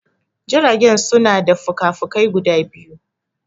Jirage suna da fuka fukai guda biyu